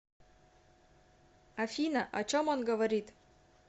афина о чем он говорит